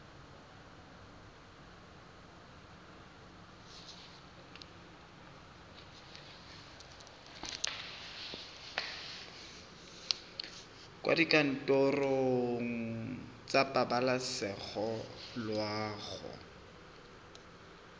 kwa dikantorong tsa pabalesego loago